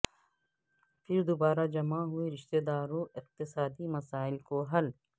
پھر دوبارہ جمع ہوئے رشتہ داروں اقتصادی مسائل کو حل